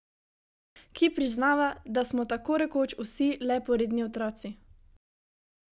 Ki priznava, da smo tako rekoč vsi le poredni otroci.